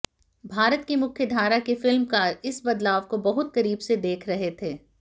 भारत की मुख्यधारा के फिल्मकार इस बदलाव को बहुत करीब से देख रहे थे